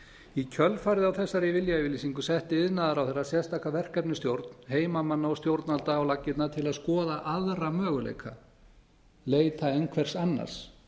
í kjölfarið á þessari viljayfirlýsingu setti iðnaðarráðherra sérstaka verkefnisstjórn heimamanna og stjórnvalda á laggirnar til að skoða aðra möguleika leita einhvers annars